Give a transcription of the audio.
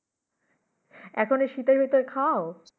এখন এই শীতের ভিতর খাও?